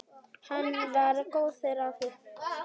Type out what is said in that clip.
Hann var góður afi.